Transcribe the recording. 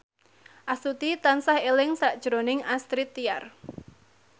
Astuti tansah eling sakjroning Astrid Tiar